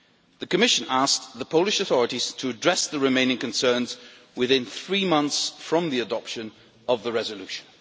The Commission asked the Polish authorities to address the remaining concerns within three months from the adoption of the resolution.